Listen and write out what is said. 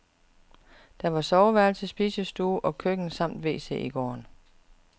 Der var soveværelse, spisestue og køkken samt wc i gården.